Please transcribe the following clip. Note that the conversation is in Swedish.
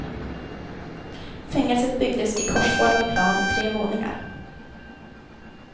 Fängelset byggdes i korsformad plan i tre våningar.